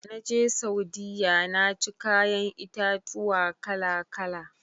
Dana je Saudiyya naci kayan itatuwa kala-kala.